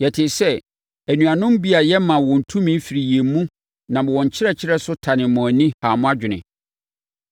Yɛtee sɛ anuanom bi a yɛmmaa wɔn tumi firi yɛn mu nam wɔn nkyerɛkyerɛ so tanee mo ani, haa mo adwene.